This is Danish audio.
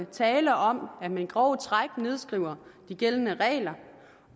tale om at man i grove træk nedskriver de gældende regler